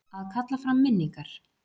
Að kalla fram minningar